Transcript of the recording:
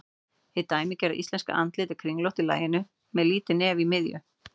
Hið dæmigerða íslenska andlit er kringlótt í laginu með lítið nef í miðju.